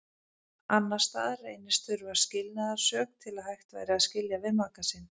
Annars staðar reynist þurfa skilnaðarsök til að hægt væri að skilja við maka sinn.